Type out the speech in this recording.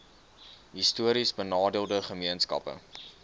histories benadeelde gemeenskappe